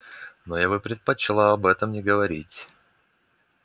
но я бы предпочла об этом не говорить